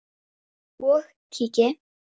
og kíki.